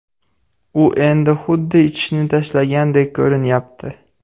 U endi xuddi ichishni tashlagandek ko‘rinyapti”.